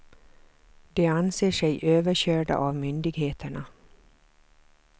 De anser sig överkörda av myndigheterna.